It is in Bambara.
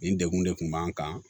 Nin degun de kun b'an kan